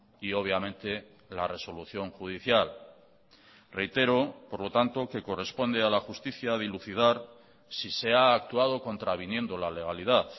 y obviamente la resolución judicial reitero por lo tanto que corresponde a la justicia dilucidar si se ha actuado contraviniendo la legalidad